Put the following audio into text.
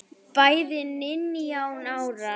Bæði nítján ára.